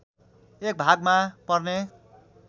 एक भागमा पर्ने